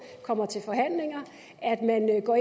kommer til forhandlinger og at man går